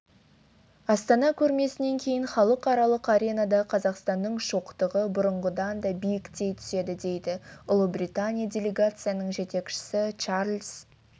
астана көрмесінен кейін халықаралық аренада қазақстанның шоқтығы бұрынғыдан да биіктей түседі дейді ұлыбритания делегациясының жетекшісі чарлз